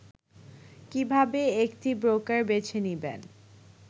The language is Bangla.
কিভাবে একটি ব্রোকার বেছে নিবেন